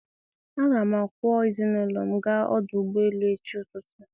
a ga m akwọ ezinụlọ m gaa ọdụ ụgbọ elu echi ụtụtụ.